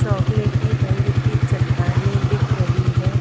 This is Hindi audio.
चॉकलेटी रंग की चट्टानें दिख रही है।